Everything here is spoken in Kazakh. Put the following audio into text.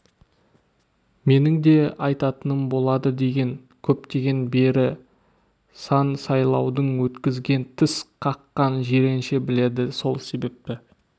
менің де атайтыным болады деген көптен бері сан сайлауды өткізген тіс қаққан жиренше біледі сол себепті